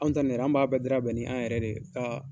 Anw ta nin an b'a bɛɛ dira bɛn ni an yɛrɛ de ye